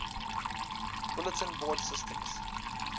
bulletin board systems